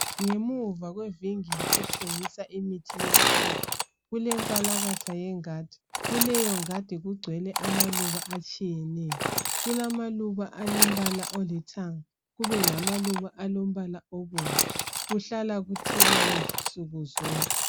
Ngemuva kwevingili ethengiswa imithi yesintu kulenkalakatha yengadi kuleyo ngadi kugcwele amaluba atshiyeneyo . Kulamaluba alembala olithanga kube lamaluba alombala obomvu, kuhlala kuthelelwa nsukuzonke.